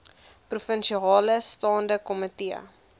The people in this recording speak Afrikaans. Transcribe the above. provinsiale staande komitee